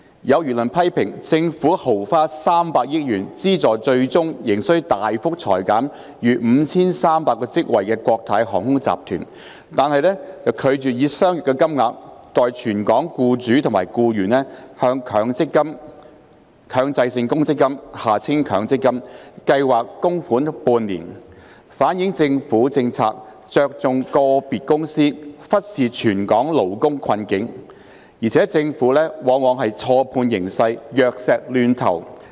有輿論批評，政府豪花300億元資助最終仍需大幅裁減逾5300個職位的國泰航空集團，但卻拒絕以相若金額，代全港僱主及僱員向強制性公積金計劃供款半年，反映政府政策着重個別公司、忽視全港勞工困境，而且政府往往錯判形勢、藥石亂投。